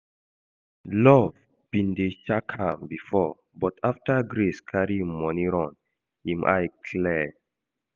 Love bin dey shack am before but after Grace carry im money run, im eye clear